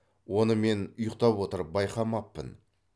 оны мен ұйықтап отырып байқамаппын